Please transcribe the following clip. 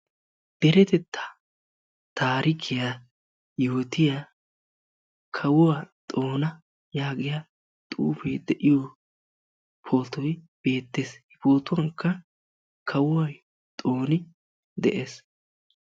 Deretettaa taarikiyaa yootiyaa kawuwa Xoona yaagiya xuufee de'iyo pootoy beettees. He pootuwankka kawuwaa Xooni de'es.